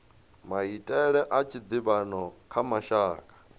maitele a tshiḓivhano kha mashaka